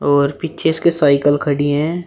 और पीछे इसके साइकल खड़ी है।